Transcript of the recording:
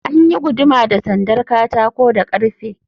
An yi guduma da sandar katako da ƙarfe.